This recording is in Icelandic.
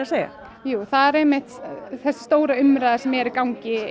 segja jú það er einmitt þessi stóra orðræða sem er í gangi